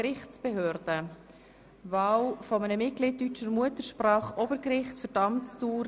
Graber möchte noch bis Ende dieses Jahrs in der GPK bleiben, daher gilt der Ersatz erst im neuen Jahr.